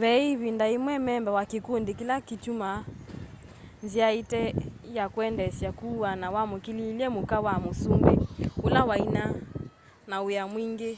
ve ĩvinda yĩmwe memba wa kĩkũndĩ kĩla kyatũmĩie nzĩa ĩte ya kũendeesya kũũwana wamũkĩlĩilye mũka wa mũsũmbĩ ũla waĩna na wia mwingĩ